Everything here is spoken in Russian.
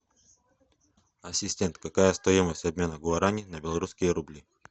ассистент какая стоимость обмена гуарани на белорусские рубли